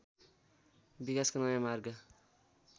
विकासको नयाँ मार्ग